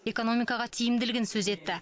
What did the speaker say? экономикаға тиімділігін сөз етті